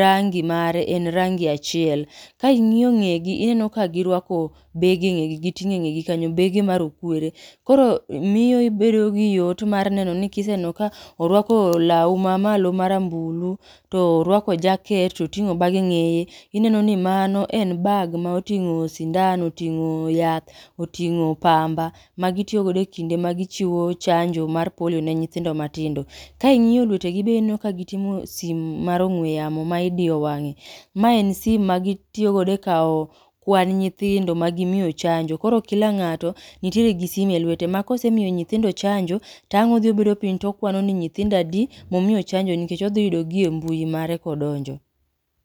rangi mare en rangi achiel. Ka ing'yo ng'egi , ineno ka girwako, bege e ng'egi giting'o e ng'egi kanyo, bege ma rokwere. Koro, miyo ibedo gi yot mar neno ni kiseneno ka, orwako law ma malo ma rambulu, to orwako jaket, to oting'o bag e ng'eye, ineni ni mano en bag ma oting'o sindan, oting'o yath, oting'o pamba magitiyo godo e kinde ma gichiwo chanjo mar polio ne nyithindo matindo. Ka ingi'yo lwete gi be ineno ka giting'o sim mar ong'we yamo ma idiyo wang'e. Ma en sim ma gitiyo godo e kaw, kwan nyithindo ma gimiyo chanjo. Koro kila ng'ato, nitiere gi sime e lwete, ma kosemiyo nyithindo chanjo, tang' odhi obedo piny tokwano ni nyithindo adi, momiyo chanjo nikech odhiyudo gi e mbui mare kodonjo